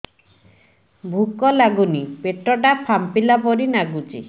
ଭୁକ ଲାଗୁନି ପେଟ ଟା ଫାମ୍ପିଲା ପରି ନାଗୁଚି